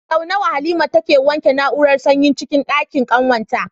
Sau nawa Halima take wanke na'urar sanyin cikin ɗakin kwananta?